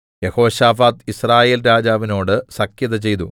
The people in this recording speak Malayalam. യെഹോശാഫാത്ത് യിസ്രായേൽ രാജാവിനോട് സഖ്യത ചെയ്തു